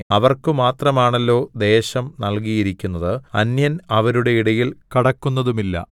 അവർക്കുമാത്രമാണല്ലോ ദേശം നല്കിയിരുന്നത് അന്യൻ അവരുടെ ഇടയിൽ കടക്കുന്നതുമില്ല